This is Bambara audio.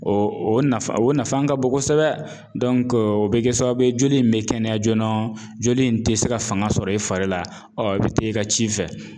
O nafa o nafa ka bon kosɛbɛ o be kɛ sababu ye joli in be kɛnɛya joona . Joli in te se ka fanga sɔrɔ i fari la, ɔn i be taa i ka ci fɛ.